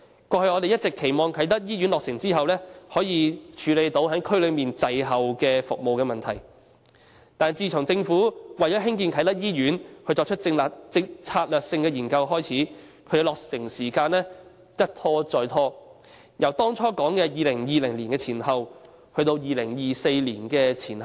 我們過去一直期望啟德醫院落成後，可以處理區內服務滯後的問題，但自政府為興建啟德醫院所作的策略性研究開展後，其落成時間一拖再拖，由當初所說的2020年前後，變為2024年前後。